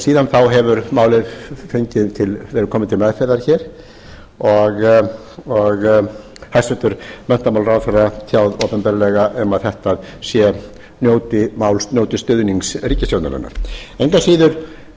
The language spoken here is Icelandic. síðan þá hefur málið komið til meðferðar hér og hæstvirtur menntamálaráðherra tjáð opinberlega um að þetta mál njóti stuðnings ríkisstjórnarinnar engu að síður